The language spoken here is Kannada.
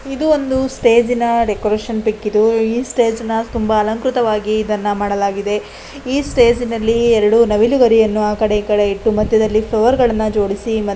ಇದು ಒಂದು ಸ್ಟೇಜಿನ ಡೆಕೋರೇಷನ್ ಪಿಕ್ ಇದುಈ ಸ್ಟೇಜ್ನ ತುಂಬ ಅಲಂಕೃತ ವಾಗಿ ಇದನ್ನ ಮಾಡಲಾಗಿದೆ ಈ ಸ್ಟೇಜಿನಲ್ಲಿ ಎರಡು ನವಿಲುಗರಿಎನ್ನು ಆಕಡೆ ಈಕಡೆ ಇಟ್ಟು ಮದ್ಯದಲ್ಲಿ ಫ್ಲವರ್ಗಲ್ಲನ ಜೋಡಿಸಿ --